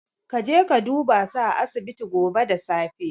Kaje ka dubasu a asibiti gobe da safe.